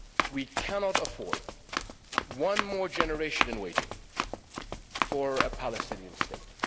We cannot afford one more generation in waiting for a Palestinian state.